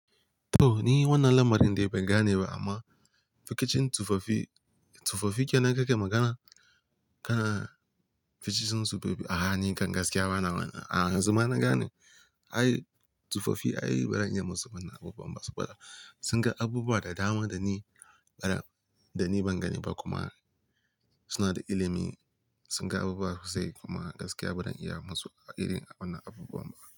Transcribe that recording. To ni wannan lamarin dai ban gane ba amma rikicin tufafi, tufafi ke nakan magana? Kana rikicin tufafi ah nikan gaskiya bana wannan gane. Ai tufafi ai ba zan iya musamman abubuwan ba, suna da abubuwa da dama da ni bana, da ni ban gane ba kuma suna da ilimi, sun ga abubuwa sosai kuma gaskiya ba zan iya musu a irin wannan abubuwan ba.